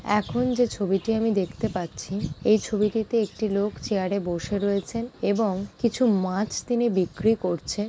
এখন যে ছবিতে আমি দেখতে পাচ্ছি এই ছবিটিতে একটি লোক চেয়ার -এ বসে রয়েছেন এবং কিছু মাছ তিনি বিক্রি করছে।